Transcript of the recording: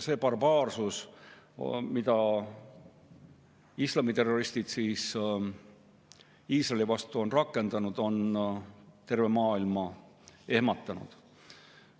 See barbaarsus, mida islamiterroristid Iisraeli vastu on rakendanud, on tervet maailma ehmatanud.